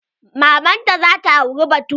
Maman ta za ta auri bature.